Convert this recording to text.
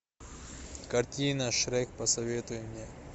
картина шрек посоветуй мне